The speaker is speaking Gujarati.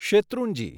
શેત્રુંજી